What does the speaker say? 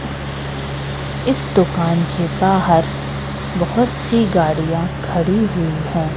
इस दुकान के बाहर बहोत सी गाड़िया खड़ी हुई है।